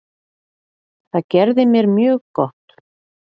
Það gerði mér mjög gott.